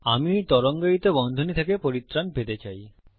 আমি এই তরঙ্গায়িত বন্ধনী থেকে পরিত্রাণ পেতে পারি